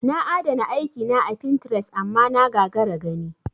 Na adana aiki na a pintres amma na gagara gani.